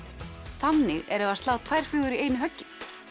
þannig erum við að slá tvær flugur í einu höggi